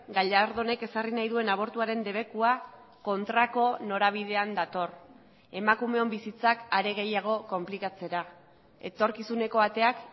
gallardonek ezarri nahi duen abortuaren debekua kontrako norabidean dator emakumeon bizitzak are gehiago konplikatzera etorkizuneko ateak